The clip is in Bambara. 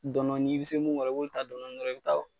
Dɔn dɔnni i be se mun kɔrɔ i b'olu taa dɔndɔni i be taa o